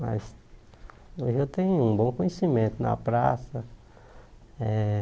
Mas hoje eu tenho um bom conhecimento na prática eh